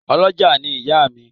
Ọ́lọjá ni ìyá mi